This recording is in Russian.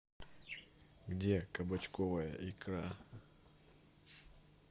где кабачковая икра